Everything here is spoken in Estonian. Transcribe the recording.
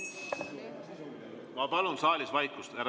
Ma palun saalis vaikust!